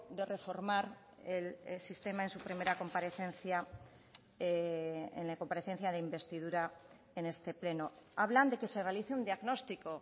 de reformar el sistema en su primera comparecencia en la comparecencia de investidura en este pleno hablan de que se realice un diagnóstico